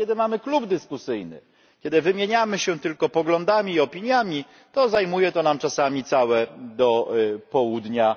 A kiedy mamy klub dyskusyjny, kiedy wymieniamy się tylko poglądami i opiniami, to zajmuje nam to czasami całe posiedzenia do południa